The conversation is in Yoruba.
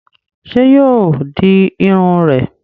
Sé yóò di Irun rè?